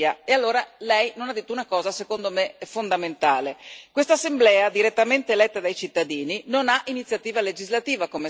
E allora Lei non ha detto una cosa, secondo me, fondamentale quest'Assemblea, direttamente eletta dai cittadini, non ha iniziativa legislativa, come Lei sa.